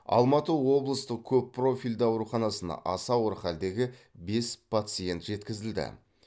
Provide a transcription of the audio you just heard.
алматы облыстық көп профильді ауруханасына аса ауыр халдегі бес пациент жеткізілді